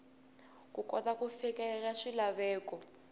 ku kota ku fikelela swilaveko